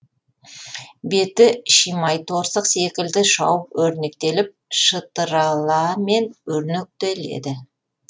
беті шимайторсық секілді шауып өрнектеліп шытыраламен өрнектеледі